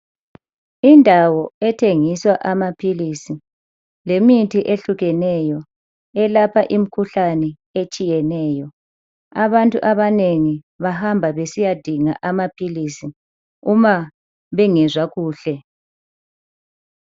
Indawo ethengiswa amaphilisi lemithi ehlukeneyo elapha imikhuhlane etshiyeneyo. Abantu abanengi bahamba besiyadinga amaphilisi uma bengezwa kuhle.